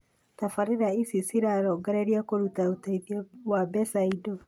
Tabarĩra ici cirarongoreria kũrũta ũteithio wa mbeca, indo